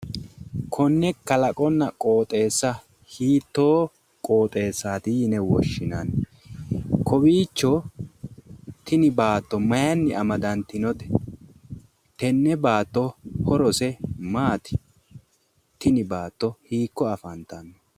Konne kalaqonna qooxeessa hiittoo qooxeessaati yine woshshinanni? Tini baatto mayinni amadantinote? Tenne baatto horose maati? Tini baatto hiikko afantanno?